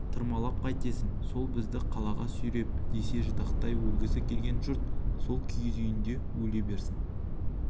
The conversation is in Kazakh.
тырмалатып қайтесің сол бізді қалаға сүйреп десе ждақай өлгісі келген жұрт сол киіз үйінде өле берсін